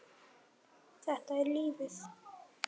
Þetta er lífið.